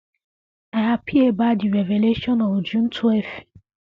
i happy about di revelation of june 12